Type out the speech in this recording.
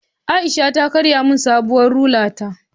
Aisha ta karya min sabuwar rula ta